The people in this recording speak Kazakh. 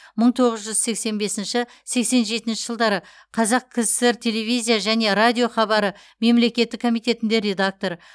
мың тоғыз жүз сексен бесінші сексен жетінші жылдары қазақ кср телевизиия және радиохабары мемлекеттік комитетінде редактор